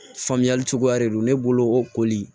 Faamuyali cogoya de don ne bolo o koli